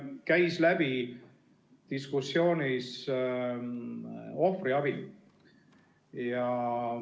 Siin käis diskussioonist läbi ohvriabi.